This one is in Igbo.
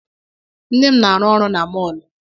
Nne m na-arụ ọrụ na mọọlụ.